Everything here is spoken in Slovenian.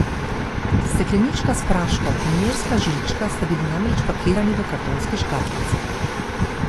Steklenička s praškom in merska žlička sta bili namreč pakirani v kartonski škatlici.